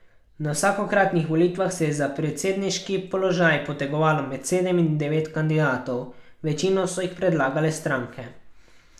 Na vsakokratnih volitvah se je za predsedniški položaj potegovalo med sedem in devet kandidatov, večino so jih predlagale stranke.